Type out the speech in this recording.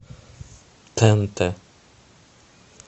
тнт